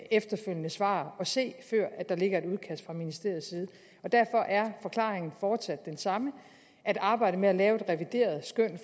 efterfølgende svar at se før der ligger et udkast fra ministeriets side derfor er forklaringen fortsat den samme at arbejdet med at lave et revideret skøn